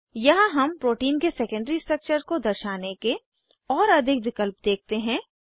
यहाँ हम प्रोटीन के सेकेंडरी स्ट्रक्चर को दर्शाने के और अधिक विकल्प देखते हैं